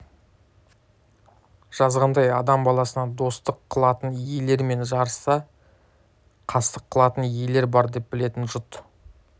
жазғандай адам баласына достық қылатын иелер мен жарыса қастық қылатын иелер бар деп білетін жұт